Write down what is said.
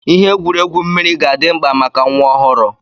Ihe egwuregwu mmiri ga-adị mma maka nwa ọhụrụ